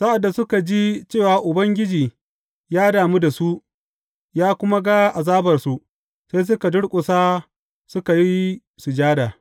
Sa’ad da suka ji cewa Ubangiji ya damu da su, ya kuma ga azabarsu, sai suka durƙusa suka yi sujada.